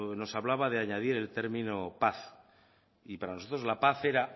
nos hablaba de añadir el término paz y para nosotros la paz era